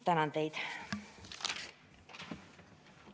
Tänan teid!